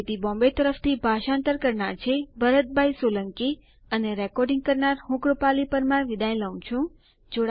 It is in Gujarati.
આઇઆઇટી મુંબઈ તરફથી ભાષાંતર કરનાર હું ભરત સોલંકી વિદાય લઉં છું